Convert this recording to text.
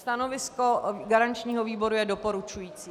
Stanovisko garančního výboru je doporučující.